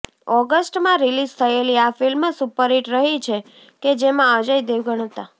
ઑગસ્ટમાં release થયેલી આ film superhit રહી છે કે જેમાં અજય દેવગણ હતાં